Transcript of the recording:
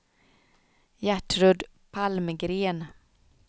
Gertrud Palmgren